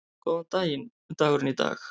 Góðan daginn dagurinn í dag